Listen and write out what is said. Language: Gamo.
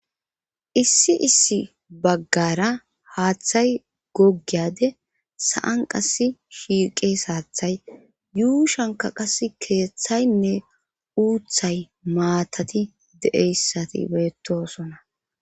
issi issi baggara haaththay gogiyade sa7an qas shiiqes haathay yuushanka qas keeththaynne uuthay maatati de7eyssati beettosona